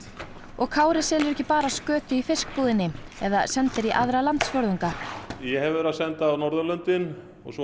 og Kári selur ekki bara skötu í fiskbúðinni eða sendir í aðra landsfjórðunga ég hef verið að senda á Norðurlöndin en svo